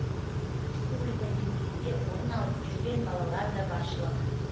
республика деңгейінде орын алып жүрген балалар да баршылық